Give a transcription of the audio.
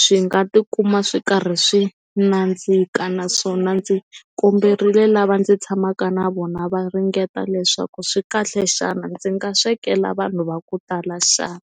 swi nga tikuma swi karhi swi nandzika naswona ndzi komberile lava ndzi tshamaka na vona va ringeta leswaku swikahle xana ndzi nga swekela vanhu va ku tala xana.